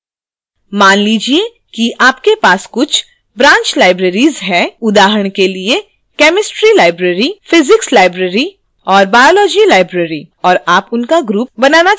मान लीजिए कि आपके पास कुछ branch libraries हैंउदाहरण के लिए chemistry library